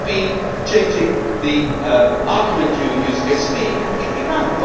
That would be changing the argument you are using against me completely around.